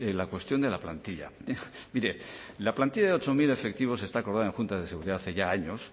la cuestión de la plantilla mire la plantilla de ocho mil efectivos está acordada en junta de seguridad hace ya años